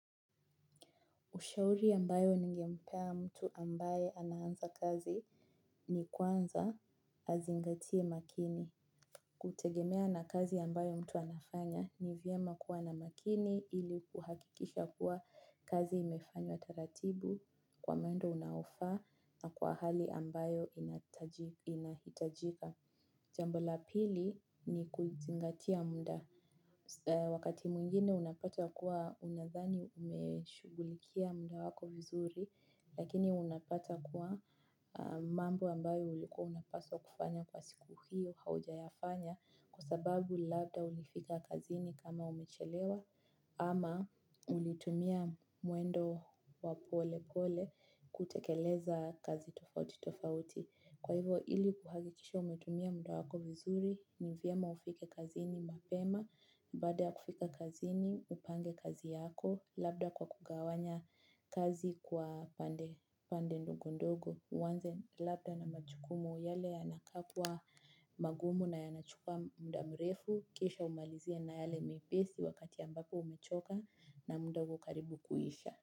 Ushauri ambayo ningempea mtu ambaye anaanza kazi ni kwanza azingatie makini. Kutegemea na kazi ambayo mtu anafanya ni vyema kuwa na makini ili kuhakikisha kuwa kazi imefanywa taratibu kwa mwendo unaofaa na kwa hali ambayo inahitajika. Jambo la pili ni kuzingatia mda. Wakati mwingine unapata ya kua unadhani umeshughulikia mda wako vizuri, lakini unapata kua mambo ambayo ulikua unapaswa kufanya kwa siku hiyo haujayafanya kwa sababu labda ulifika kazini kama umechelewa ama ulitumia mwendo wa polepole kutekeleza kazi tofauti tofauti. Kwa hivo ili kuhagikikisha umetumia mda wako vizuri, ni vyema ufike kazini mapema, baada ya kufika kazini, upange kazi yako, labda kwa kugawanya kazi kwa pande ndogo ndogo, uanze labda na majukumu yale yanakaa kua magumu na yanachukua mda mrefu, kisha umalizie na yale mepesi wakati ambapo umechoka na mda uko karibu kuisha.